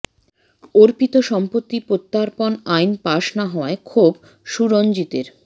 অর্পিত সম্পত্তি প্রত্যার্পন আইন পাস না হওয়ায় ক্ষোভ সুরঞ্জিতের